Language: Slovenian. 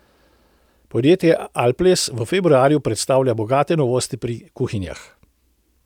Podjetje Alples v februarju predstavlja bogate novosti pri kuhinjah.